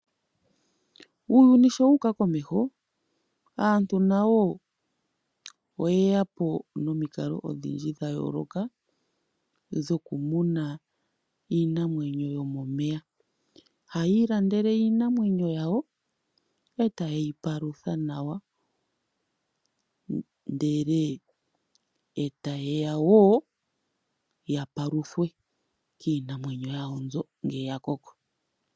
Uuyuni sho wuuka komeho, aantu na yo oye ya po nomikalo odhindji dha yooloka dhoku muna iinamwenyo yomomeya. Hayi ilandela iinamwenyo yawo e ta ye yi palutha nawa, ndele e ta ye ya woo ya paluthwe kiinamwenyo yawo mbyo ngele ya koko.